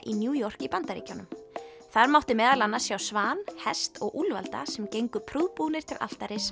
í New York í Bandaríkjunum þar mátti meðal annars sjá svan hest og úlfalda sem gengu prúðbúnir til altaris